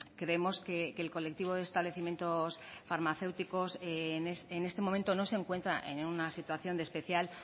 creemos que el colectivo de establecimientos farmacéuticos en este momento no se encuentra en una situación de especial